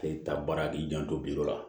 A ye taa baara k'i janto biyɔrɔ la